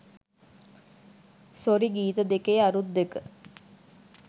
sorry ගීත දෙකේ අරුත් දෙක